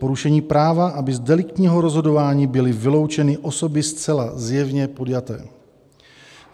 Porušení práva, aby z deliktního rozhodování byly vyloučeny osoby zcela zjevně podjaté.